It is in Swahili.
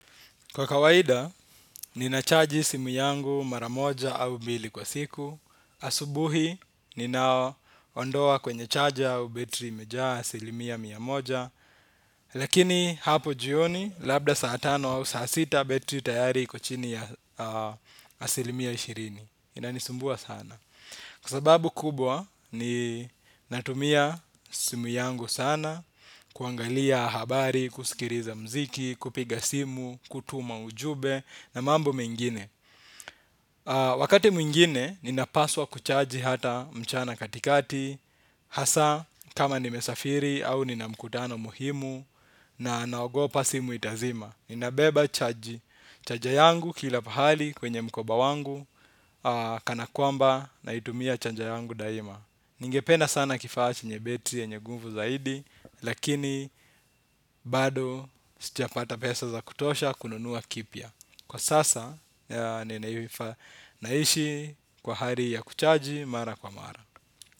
Kwa kawaida, ninachaji simu yangu mara moja au mbili kwa siku. Asubuhi, nina ondoa kwenye chaja au betri imejaa asilimia mia moja. Lakini hapo jioni, labda saa tano au saa sita betri tayari iko chini ya asilimia ishirini. Inanisumbua sana. Kwa sababu kubwa ni natumia simu yangu sana, kuangalia habari, kusikiriza mziki, kupiga simu, kutuma ujube na mambo mengine. Wakati mwingine ninapaswa kuchaji hata mchana katikati, hasa kama nimesafiri au nina mkutano muhimu na naogopa simu itazima. Ninabeba chaji Charger yangu kila pahali kwenye mkoba wangu. Kana kwamba naitumia charger yangu daima. Ningependa sana kifaa chenye betri yenye guvu zaidi. Lakini bado sijapata pesa za kutosha kununua kipya. Kwa sasa ninaifaa naishi kwa hari ya kuchaji mara kwa mara.